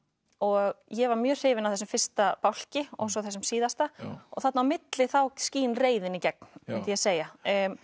og ég var mjög hrifin af þessum fyrsta bálki og svo þessum síðasta þarna á milli þá skín reiðin í gegn myndi ég segja